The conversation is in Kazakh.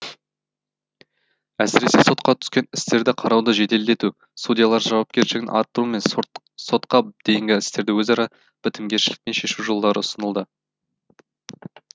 әсіресе сотқа түскен істерді қарауды жеделдету судьялар жауапкершілігін арттыру мен сотқа дейінгі істерді өзара бітімгершілікпен шешу жолдары ұсынылды